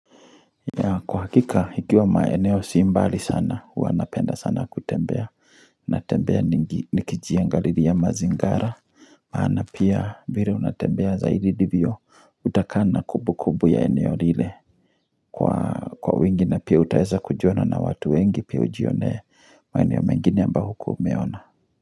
Ya kwa hakika ikiwa maeneo si mbali sana huwa napenda sana kutembea. Natembea nikijiangalilia mazingara. Maana pia vire unatembea zaidi divyo utakaa na kubu kubu ya eneo lile. Kwa wingi na pia utaeza kujuana na watu wengi pia ujionee maeneo mengini ambayo hukuwa umeona.